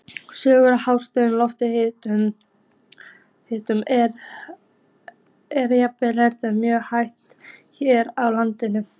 Sökum lágs lofthita er efnaveðrun mjög hæg hér á landi.